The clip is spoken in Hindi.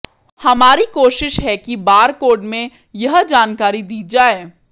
हमारी कोशिश है कि बार कोड में यह जानकारी दी जाए